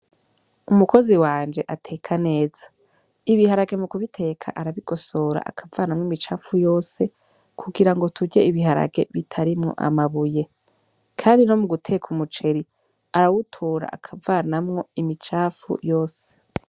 Umukozi wanje ateka neza ibiharage mu kubiteka arabigosora akavanamwo imicafu yose kugirango turye ibiharage bitarimwo amabuye kandi no muguteka umuceri arawutora akavanamwo imicafu yose.